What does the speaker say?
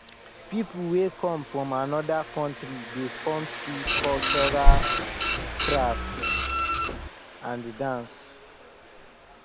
people wey come from anoda country dey come see cultural craft and dance